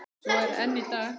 Svo er enn í dag.